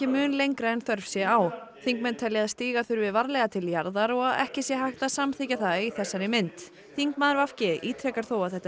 mun lengra en þörf sé á þingmenn telja að stíga þurfi varlega til jarðar og ekki sé hægt að samþykkja það í þessari mynd þingmaður v g ítrekar þó að þetta